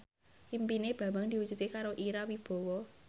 impine Bambang diwujudke karo Ira Wibowo